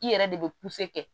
I yɛrɛ de bɛ kɛ